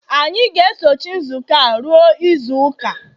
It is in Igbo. anyị ga-esochi nzukọ a ruo izu ụka